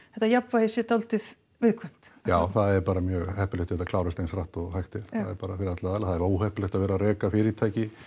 þetta jafnvægi sé dálítið viðkvæmt já það er bara mjög heppilegt að þetta klárist eins hratt og hægt er já bara fyrir alla aðila það er óheppilegt að vera að reka fyrirtæki